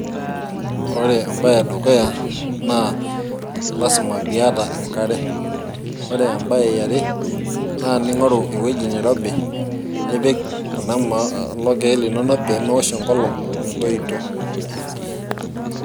ore ebae edukuya naa lasima pee iyata enkare, ore ebae yiare, naa ning'oru ewueji nirobi nipik kuna kulo keek inonok pee meosh enkolong, metoito..